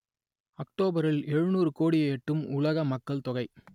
அக்டோபரில் எழுநூறு கோடியை எட்டும் உலக மக்கள் தொகை